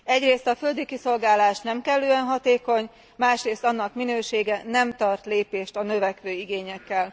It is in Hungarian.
Egyrészt a földi kiszolgálás nem kellően hatékony, másrészt annak minősége nem tart lépést a növekvő igényekkel.